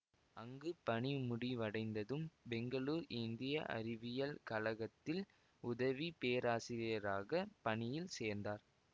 அங்கு பணிமுடிவடைந்ததும் பெங்களூர் இந்திய அறிவியல் கழகத்தில் உதவி பேராசிரியராக பணியில் சேர்ந்தார்